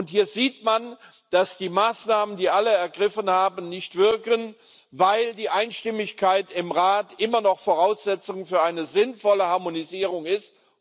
Hier sieht man, dass alle ergriffenen Maßnahmen nicht wirken, weil die Einstimmigkeit im Rat immer noch Voraussetzung für eine sinnvolle Harmonisierung ist.